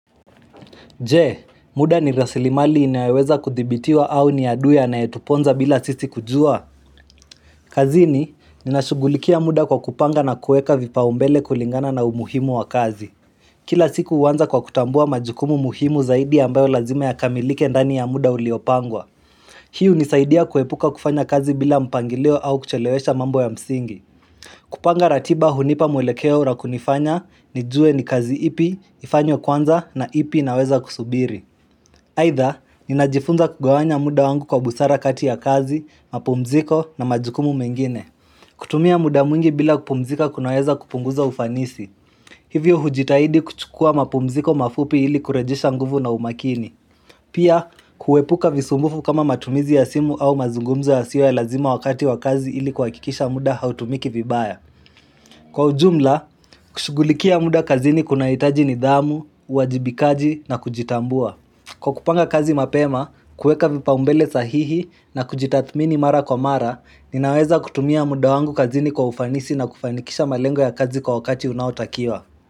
Je, muda ni rasilimali inaeweza kuthibitiwa au ni adui anaye tuponza bila sisi kujua. Kazini, ninashugulikia muda kwa kupanga na kueka vipa umbele kulingana na umuhimu wa kazi. Kila siku uanza kwa kutambua majukumu muhimu zaidi ambayo lazima ya kamilike ndani ya muda uliopangwa. Hii unisaidia kuepuka kufanya kazi bila mpangilo au kuchelewesha mambo ya msingi. Kupanga ratiba hunipa mwelekeo na kunifanya, nijue ni kazi ipi, ifanyo kwanza na ipi inaweza kusubiri. Haidha, ninajifunza kugawanya muda wangu kwa busara kati ya kazi, mapumziko na majukumu mengine. Kutumia muda mwingi bila kupumzika kunaweza kupunguza ufanisi. Hivyo hujitahidi kuchukua mapumziko mafupi ili kurejisha nguvu na umakini. Pia, kuepuka visumbufu kama matumizi ya simu au mazungumzo yasiyo ya lazima wakati wa kazi ili kuhakikisha muda hautumiki vibaya. Kwa ujumla, kushugulikia muda kazini kuna hitaji ni dhamu, wajibikaji na kujitambua. Kwa kupanga kazi mapema, kuweka vipa umbele sahihi na kujitathmini mara kwa mara, ninaweza kutumia muda wangu kazini kwa ufanisi na kufanikisha malengo ya kazi kwa wakati unaotakiwa.